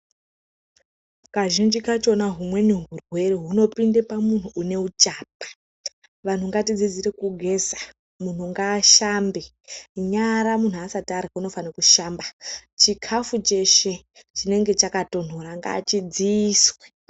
Kazhinji kachona humweni hurwere hunopinde pamunhu uneuchapa. Vanhu ngatidzidzire kugeza. Munhu ngaashambe. Nyara munhu asati arya unofanhe kushamba. Chikafu cheshe chinenge chakatonhora ngachidziiswe.